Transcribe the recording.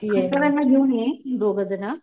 मिस्टरांना घेऊन ये तुम्ही दोघेजण.